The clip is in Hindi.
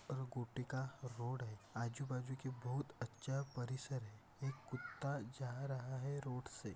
का रोड है आजूबाजू की बहुत अच्छा परिसर है एक कुत्ता जा रहा है रोड से।